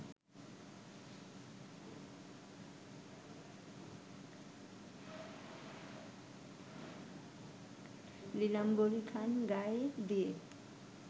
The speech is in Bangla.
নীলাম্বরীখান গায়ে দিয়ে